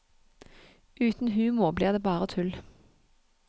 Uten humor blir det bare tull.